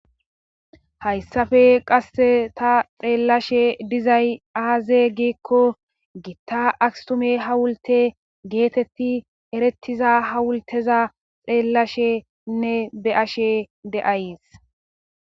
hayssafe qasse ta xeellashe dizay aaze giikko gitta akstume hawulte geetetti erettiza ha wulteza xeellashenne be ashe de7ayes